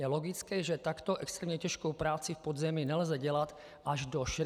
Je logické, že takto extrémně těžkou práci v podzemí nelze dělat až do 65 let.